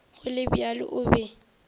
go le bjalo o be